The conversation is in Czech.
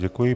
Děkuji.